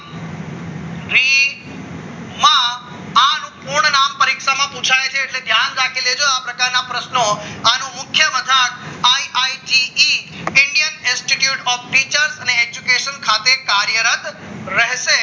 આનો પૂરના નામ પરીક્ષામાં પુછાય છે એટલે કે યાદ રાખી લેજો આ પ્રકારના પ્રશ્નો આનું મુખ્ય અર્થાત I I G E Indian institute of features અને એજ્યુકેશન સાથે કાર્યરત રહેશે